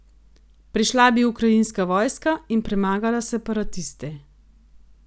Prišla bi ukrajinska vojska in premagala separatiste.